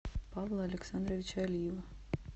павла александровича алиева